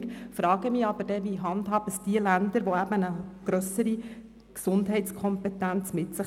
Ich frage mich aber, wie es diejenigen Länder handhaben, deren Bevölkerung eine grössere Gesundheitskompetenz aufweist.